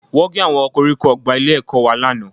Wọ́n gé àwọn koríko ọgbà ilé-ẹ̀kọ́ wa lánàá